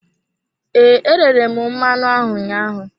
Ee, e rere m mmanụ ahụ ụnyaahụ.